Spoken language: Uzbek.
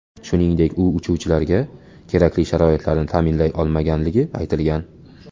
Shuningdek, u uchuvchilarga kerakli sharoitlarni ta’minlay olmaganligi aytilgan.